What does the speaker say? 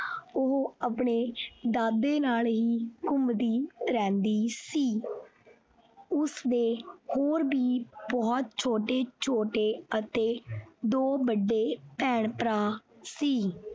ਉਹ ਆਪਣੇ ਦਾਦੇ ਨਾਲ ਹੀ ਘੁੰਮਦੀ ਰਹਿੰਦੀ ਸੀ ਉਸਦੇ ਹੋਰ ਵੀ ਬਹੁਤ ਛੋਟੇ ਛੋਟੇ ਅਤੇ ਦੋ ਵੱਡੇ ਭੈਣ ਭਰਾ ਸੀ।